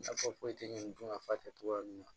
Nafa foyi tɛ ɲɛɲini dɔn nafa tɛ cogoya min na